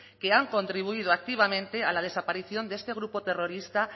que han contribuido activamente a la desaparición de este grupo terrorista